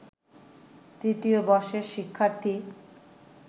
তৃতীয় বর্ষের শিক্ষার্থী